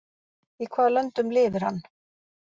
Í hvaða löndum lifir hann?